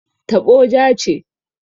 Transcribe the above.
Taɓo ja ce.